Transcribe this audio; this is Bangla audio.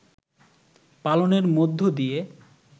পালনের মধ্য দিয়ে